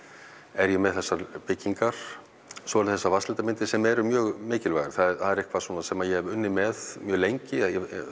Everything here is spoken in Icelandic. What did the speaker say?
er ég með þessar byggingar svo eru það þessar vatnslitamyndir sem eru mjög mikilvægar það er eitthvað svona sem ég hef unnið með mjög lengi